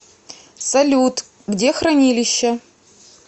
салют где хранилище